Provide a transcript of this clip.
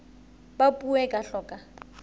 ba puo e tla hloka